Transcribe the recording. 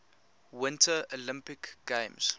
winter olympic games